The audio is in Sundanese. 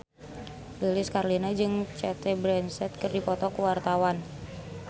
Lilis Karlina jeung Cate Blanchett keur dipoto ku wartawan